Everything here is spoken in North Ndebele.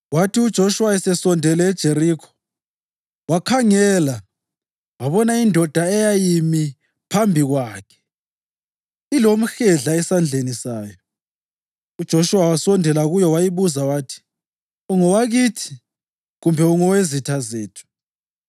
Kwathi uJoshuwa esesondele eJerikho, wakhangela wabona indoda eyayimi phambi kwakhe ilomhedla esandleni sayo, uJoshuwa wasondela kuyo wayibuza wathi “Ungowakithi kumbe ungowezitha zethu?”